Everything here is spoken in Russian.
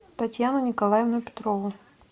татьяну николаевну петрову